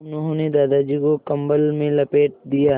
उन्होंने दादाजी को कम्बल में लपेट दिया